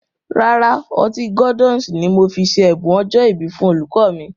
Rárá, Ọtí Gordon's ni mo fi ṣe ẹ̀bùn ọjọ́ ìbí fún olùkọ́ mi